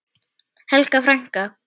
Helga frænka.